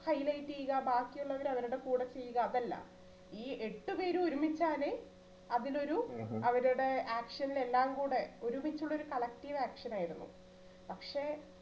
highlight ചെയ്യുക ബാക്കിയുള്ളവരെ അവരുടെ കൂടെ ചെയ്യുക അതല്ല, ഈ എട്ട് പേര് ഒരുമിച്ചാണ് അവിടെ ഒരു അവരുടെ action ൽ എല്ലാം കൂടെ ഒരുമിച്ചുള്ള ഒരു collective action ആയിരുന്നു. പക്ഷേ